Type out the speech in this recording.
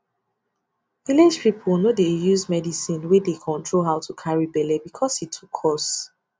village people no dey use medicine wey dey control how to carry belle because e too cost